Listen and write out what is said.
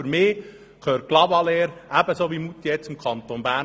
Für mich gehört Clavaleyres ebenso wie Moutier zum Kanton Bern.